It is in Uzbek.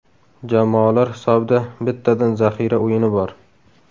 Jamoalar hisobida bittadan zaxira o‘yini bor.